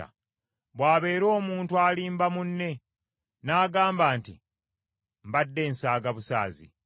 bw’abeera omuntu alimba munne, n’agamba nti, “Mbadde nsaaga busaazi.”